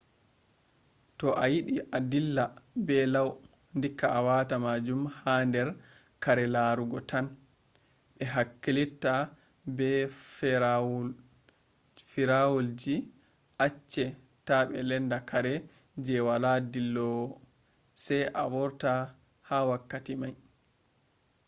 to a yidi dilla be lau dikka a wata majun her kare larugo tan. be hakkilitta be ferawaul ji acce ta be lenda kare je wala dilowo sai a vorta ha wakkati mai